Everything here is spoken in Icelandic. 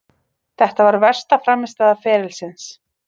Þetta var versta frammistaða ferilsins.